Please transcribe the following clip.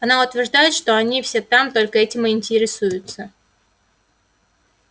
она утверждает что они все там только этим и интересуются